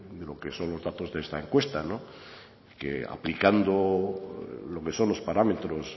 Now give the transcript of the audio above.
de lo que son los datos de esta encuesta que aplicando lo que son los parámetros